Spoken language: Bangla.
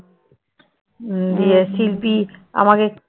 দিয়ে শিল্পী আমাকে